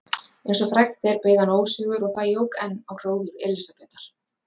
Eins og frægt er beið hann ósigur og það jók enn á hróður Elísabetar.